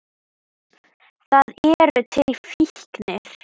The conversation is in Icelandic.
Það eru til fíknir.